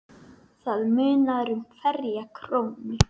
Það munar um hverja krónu.